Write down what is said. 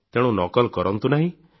ତେଣୁ ନକଲ କରନ୍ତୁ ନାହିଁ